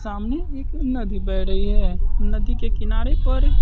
सामने एक नदी बह रही है नदी के किनारे पर--